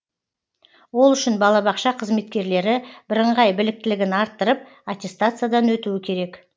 ол үшін балабақша қызметкерлері бірыңғай біліктілігін арттырып аттестациядан өтуі керек